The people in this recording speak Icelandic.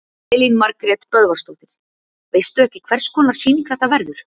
Elín Margrét Böðvarsdóttir: Veistu ekki hvers konar sýning þetta verður?